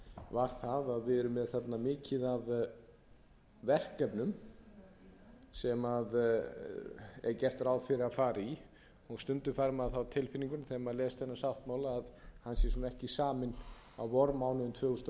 var að við erum með þarna mikið af verkefnum sem gert er ráð fyrir að fara í og stundum fær maður það á tilfinninguna þegar maður les þennan sáttmála að hann sé ekki saminn á vormánuðum tvö þúsund og níu